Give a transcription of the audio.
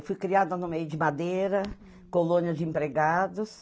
Eu fui criada no meio de madeira, colônia de empregados.